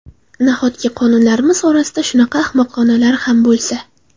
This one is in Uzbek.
Nahotki qonunlarimiz orasida shunaqa ahmoqonalari ham bo‘lsa?